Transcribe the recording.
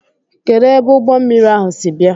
Kedụ ebe ụgbọmmiri ahụ si bịa?